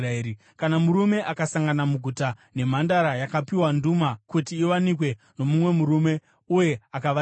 Kana murume akasangana muguta nemhandara yakapiwa nduma kuti iwanikwe nomumwe murume uye akavata naye,